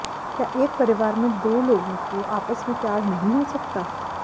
क्या एक परिवार में दो लोगों को आपस में प्यार नहीं हो सकता